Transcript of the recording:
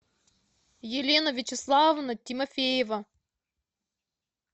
елена вячеславовна тимофеева